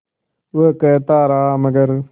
वो कहता रहा मगर